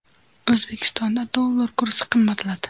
O‘zbekistonda dollar kursi qimmatladi.